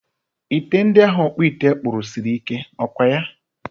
Ite ndi ahụ ọkpụite kpụrụ siri ike, ọkwaya?